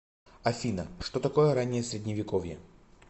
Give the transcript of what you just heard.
афина что такое раннее средневековье